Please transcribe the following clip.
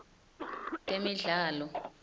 temidlalo